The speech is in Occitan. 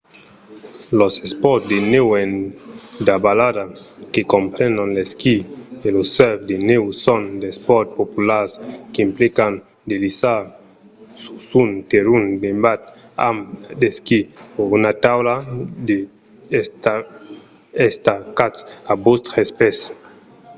los espòrts de nèu en davalada que comprenon l'esquí e lo surf de nèu son d'espòrts populars qu'implican de lisar sus un terrenh nevat amb d'esquís o una taula de nèu estacats a vòstres pès